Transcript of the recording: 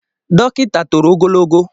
Dọkịta toro ogologo